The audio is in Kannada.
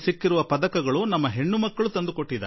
ನಮಗೆ ಬಂದಿರುವ ಪದಕಗಳನ್ನೆಲ್ಲಾ ತಂದುಕೊಟ್ಟಿರುವವರು ಪುತ್ರಿಯರೇ